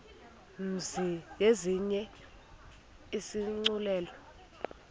mzi yenziwe isigculelo